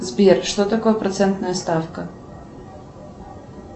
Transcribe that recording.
сбер что такое процентная ставка